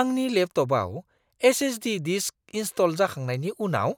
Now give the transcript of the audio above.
आंनि लेपट'पआव SSD. Disk install जाखांनायनि उनाव